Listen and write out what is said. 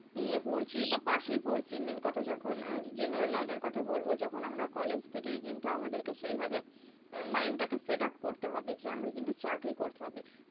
নিয়ে পড়ছি বা pass এই পড়ছি main কথা যখন general line এর কথা বলবো যখন আমরা college থেকেই কিন্তু আমাদেরকে সেইভাবে mind টাকে set up করতে হবে যে আমায় কিন্তু চাকরি করতে হবে।